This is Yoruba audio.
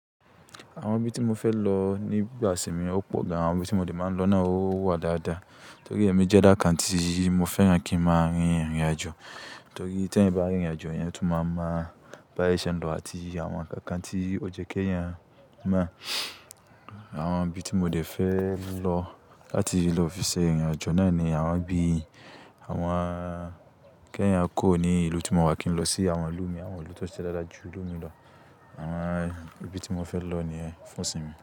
Àwọn ibi tí mo fẹ́ lọ nígbà ìsìnmi ò pọ̀ gan. Àwọn ibi tí mo dẹ máa ń lọ náà ó wà dáadáa. Nítorí èmi jẹ́ ẹ̀dá kan tí mo fẹ́ràn kí ń máa rìnrìnàjò. Torí tí èèyàn bá rìnrìnàjò, èèyàn tún máa mọ̀ baye ṣe n lọ àti àwọn ǹkan kan tí ó jẹ́ kí èèyàn mọ̀. Àwọn ibi tí mo dẹ fẹ́ lọ láti lọ fi ṣe irìnàjò náà ni àwọn bi àwọn kí eeyan kuro ní ìlú tí mo wà kí ń lọ sí àwọn ìlú mi. Àwọn ìlú tó ṣe dáadáa jù ìlú mi lọ. Àwọn ibi tí mo fẹ́ lọ nìyẹn fún ìsìnmi.